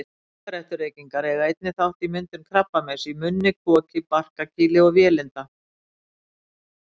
Sígarettureykingar eiga einnig þátt í myndun krabbameins í munni, koki, barkakýli og vélinda.